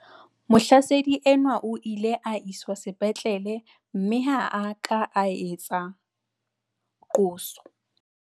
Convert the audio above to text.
Mohlasedi enwa o ile a iswa sepetlele mme ha a ka a etsa qoso.